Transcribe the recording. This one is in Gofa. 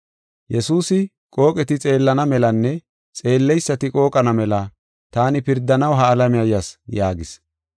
Yesuusi, “Qooqeti xeellana melanne xeelleysati qooqana mela taani pirdanaw ha alamiya yas” yaagis.